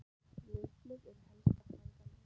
Laufblöð eru helsta fæða letidýra.